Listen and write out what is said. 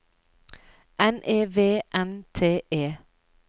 N E V N T E